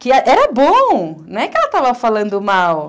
Que era bom, não é que ela estava falando mal.